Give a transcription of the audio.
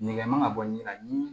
Nɛgɛ man ka bɔ ɲina